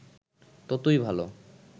ততই ভাল